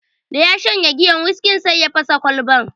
Da ya shanye giyar wiskin, sai ya fasa Kwalbar